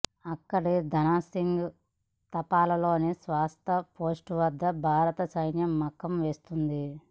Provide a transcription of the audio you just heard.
అక్కడి ధనాసింగ్ థాపాలోని శాశ్వత పోస్ట్ వద్ద భారత సైన్యం మకాం వేస్తుంది